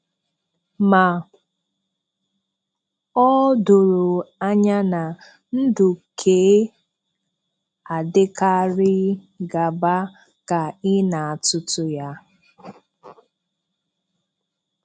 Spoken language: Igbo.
Ma, ọ̀ doro anya na, ndụ̀ kè adị̀karịghị gàbà ka ị na àtùtù ya.